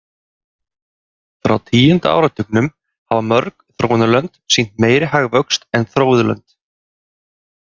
Frá tíunda áratugnum hafa mörg þróunarlönd sýnt meiri hagvöxt en þróuð lönd.